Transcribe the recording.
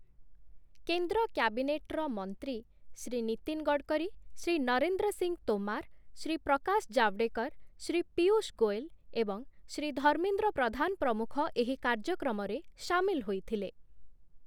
କେନ୍ଦ୍ର କ୍ୟାବିନେଟ୍‌ର ମନ୍ତ୍ରୀ ଶ୍ରୀ ନୀତିନ ଗଡ଼କରୀ, ଶ୍ରୀ ନରେନ୍ଦ୍ର ସିଂହ ତୋମର, ଶ୍ରୀ ପ୍ରକାଶ ଜାଭଡେକର, ଶ୍ରୀ ପୀୟୂଷ ଗୋଏଲ ଏବଂ ଶ୍ରୀ ଧର୍ମେନ୍ଦ୍ର ପ୍ରଧାନ ପ୍ରମୁଖ ଏହି କାର୍ଯ୍ୟକ୍ରମରେ ସାମିଲ ହୋଇଥିଲେ ।